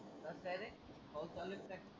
कस रे, पाऊस चालु की काय.